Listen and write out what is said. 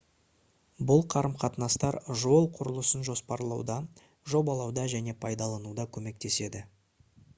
бұл қарым-қатынастар жол құрылысын жоспарлауда жобалауда және пайдалануда көмектеседі